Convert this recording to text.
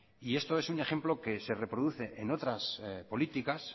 esto es un ejemplo que se reproduce en otras políticas